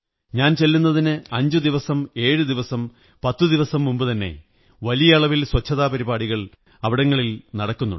ഞാൻ ചെല്ലുന്നതിന് അഞ്ചുദിവസം ഏഴുദിവസം പത്തു ദിവസം മുമ്പുതന്നെ വലിയ അളവിൽ സ്വച്ഛതാ പരിപാടികൾ അവിടങ്ങളിൽ നടക്കുന്നു